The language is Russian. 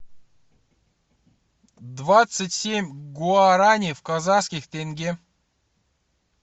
двадцать семь гуарани в казахских тенге